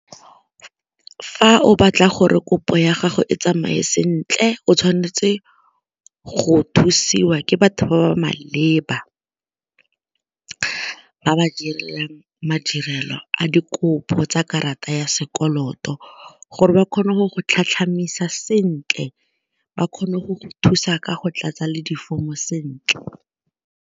Fa o batla gore kopo ya gago e tsamaye sentle o tshwanetse go thusiwa ke batho ba ba maleba, ba ba direlang madirelo a dikopo tsa karata ya sekoloto gore ba kgone go go sentle ba kgone go thusa ka go tlatsa le di-form-o sentle.